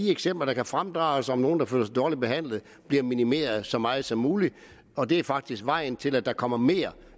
af eksempler der kan fremdrages på nogle der føler sig dårligt behandlet bliver minimeret så meget som muligt og det er faktisk vejen til at der kommer mere